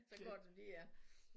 Så går det lige an